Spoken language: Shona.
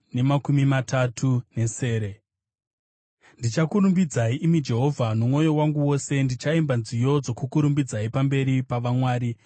Ndichakurumbidzai, imi Jehovha, nomwoyo wangu wose; ndichaimba nziyo dzokukurumbidzai pamberi pa“vamwari.”